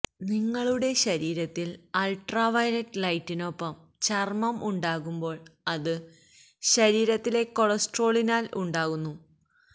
നിങ്ങളുടെ ശരീരത്തിൽ അൾട്രാവയലറ്റ് ലൈറ്റിനൊപ്പം ചർമ്മം ഉണ്ടാകുമ്പോൾ അത് ശരീരത്തിലെ കൊളസ്ട്രോളിനാൽ ഉണ്ടാകുന്നു